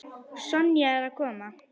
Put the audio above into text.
Sonja er að koma.